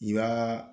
I y'aa